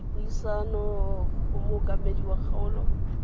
dipuisano go mookamedi wa kgaolo